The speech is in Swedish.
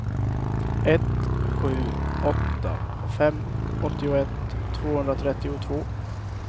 ett sju åtta fem åttioett tvåhundratrettiotvå